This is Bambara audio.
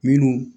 Minnu